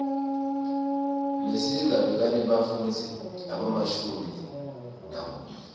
mesiga bekanebafundzi lobamashumi nakubili